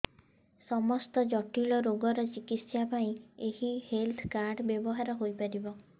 ସମସ୍ତ ଜଟିଳ ରୋଗର ଚିକିତ୍ସା ପାଇଁ ଏହି ହେଲ୍ଥ କାର୍ଡ ବ୍ୟବହାର ହୋଇପାରିବ